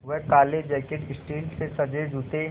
वह काले jacket steel से सजे जूते